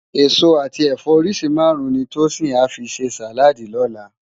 Esó ati ẹfọ óriṣi márùn ni Tosin à fi sé sáládì lòlá